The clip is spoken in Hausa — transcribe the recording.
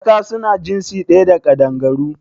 Tsaka su na jinsi ɗaya da Ƙaɗangaru